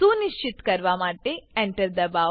સુનિશ્ચિત કરવા માટે Enter દબાવો